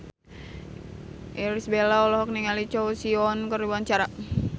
Irish Bella olohok ningali Choi Siwon keur diwawancara